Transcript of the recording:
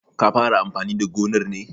Ka fara amfani da gonar ne?